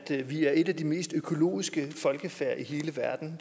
vi er et af de mest økologiske folkefærd i hele verden